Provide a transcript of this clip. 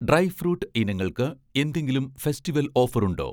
Dry fruit ഇനങ്ങൾക്ക് എന്തെങ്കിലും festival ഓഫറുണ്ടോ?